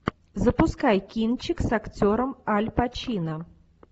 запускай кинчик с актером аль пачино